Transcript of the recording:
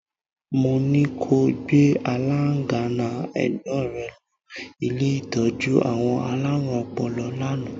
Mo ní ko gbé aláńgànná ẹ̀gbọ́n rẹ̀ lọ́ ilé ìtọ́jú àwọn alárùn ọpọlọ lánàá.